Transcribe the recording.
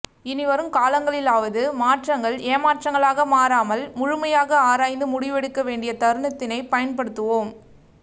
இனிவரும் காலங்களிலாவது மாற்றங்கள் ஏமாற்றங்களாக மாறாமல் முழுமையாக ஆராய்ந்து முடிவெடுக்க வேண்டியத் தருணத்தினை பயன்படுத்துவோம்